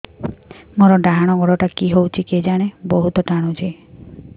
ମୋର୍ ଡାହାଣ୍ ଗୋଡ଼ଟା କି ହଉଚି କେଜାଣେ ବହୁତ୍ ଟାଣୁଛି